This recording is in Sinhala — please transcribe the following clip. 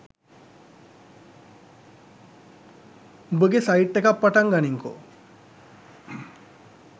උඹගේ සයිට් එකක් පටන් ගනින්කෝ.